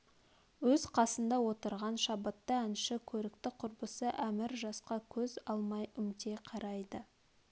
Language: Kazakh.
өз қасында отырған шабытты әнші көрікті құрбысы әмір жасқа көз алмай үмтей қарайды